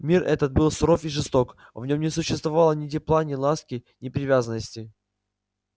мир этот был суров и жесток в нём не существовало ни тепла ни ласки ни привязанностей